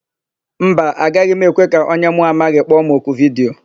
Mba, agaghị m ekwe ka onye mụ amaghị kpọ m oku vidiyo.